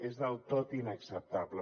és del tot inacceptable